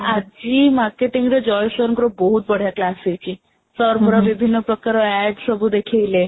ଆଜି marketing ରେ Jay sir ଙ୍କର ବହୁତ ବଢିଆ class ହେଇଚି sir ପୁରା ବିଭିନ୍ନ ପ୍ରକାର art ସବୁ ଦେଖେଇଲେ